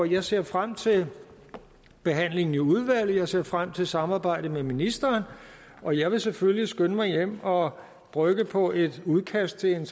jeg ser frem til behandlingen i udvalget jeg ser frem til samarbejdet med ministeren og jeg vil selvfølgelig skynde mig hjem og brygge på et udkast til en